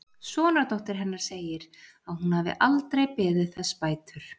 Sonardóttir hennar segir að hún hafi aldrei beðið þess bætur.